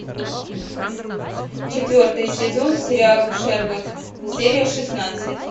четвертый сезон сериал шерлок серия шестнадцать